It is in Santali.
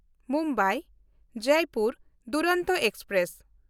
ᱢᱩᱢᱵᱟᱭ–ᱡᱚᱭᱯᱩᱨ ᱫᱩᱨᱚᱱᱛᱚ ᱮᱠᱥᱯᱨᱮᱥ